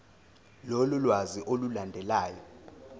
lolu lwazi olulandelayo